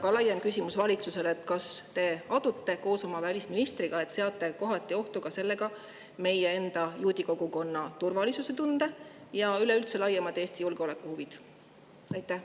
Ja ka laiem küsimus valitsusele: kas te adute koos oma välisministriga, et te seate sellega ohtu ka meie enda juudi kogukonna turvalisustunde ja üleüldse laiemalt Eesti julgeolekuhuvid?